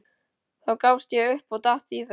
Þá gafst ég upp og datt í það.